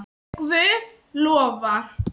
Ef Guð lofar.